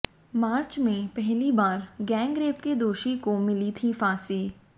मार्च में पहली बार गैंगरेप के दोषी को मिली थी फांसी